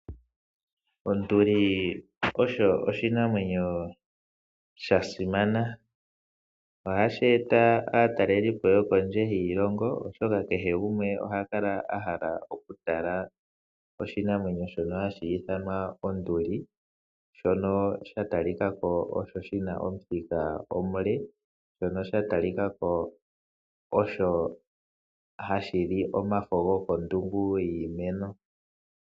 Onduli osho oshinamwenyo sha simana, ohashi eta aatalelipo yo kondje hiilongo oshoka kehe gumwe oha kala a hala oku tala oshinamwenyo shono hashi ithanwa Onduli. Shono sha tali kako osho shina omuthika omule, shono sha tali kako osho ha shili omafo go kondungu yiimeno.